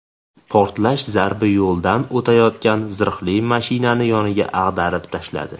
Portlash zarbi yo‘ldan o‘tayotgan zirhli mashinani yonga ag‘darib tashladi.